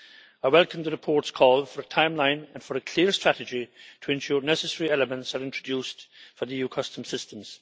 I welcome the report's call for a timeline and for a clear strategy to ensure necessary elements are introduced for the EU customs systems.